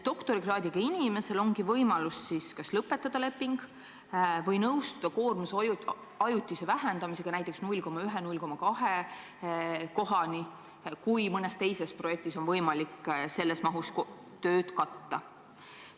Doktorikraadiga inimesel ongi kaks võimalust: kas lõpetada leping või nõustuda koormuse ajutise vähendamisega, näiteks 0,1–0,2 kohani, kui mõnes teises projektis saab selles mahus tööd katta.